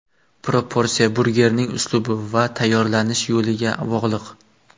Proporsiya burgerning uslubi va tayyorlanish yo‘liga bog‘liq.